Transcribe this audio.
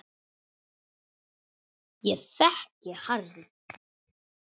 Ég þekki Harry